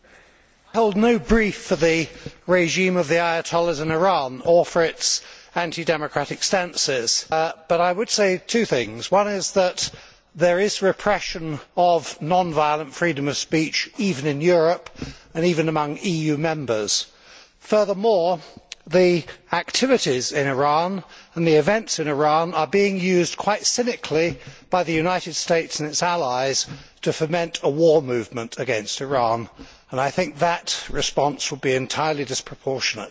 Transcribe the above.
I hold no brief for the regime of the Ayatollahs in Iran or for its anti democratic stances. But I would say two things one is that there is repression of non violent freedom of speech even in Europe and even among EU members. Furthermore, the activities in Iran and the events in Iran are being used quite cynically by the United States and its allies to foment a war movement against Iran, and I think that response would be entirely disproportionate.